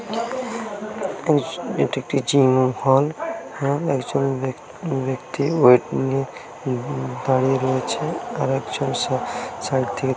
এটি একটি জিম ঘর। একজন ব্যাক্তি দাঁড়িয়ে রয়েছে আরেকজন সা- সাইড থেকে--